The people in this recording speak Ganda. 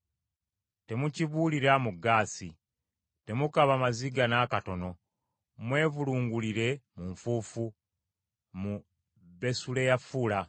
Temukibuulira mu Gaasi, temukaaba maziga n’akatono. Mwevulungulire mu nfuufu mu Besuleyafula.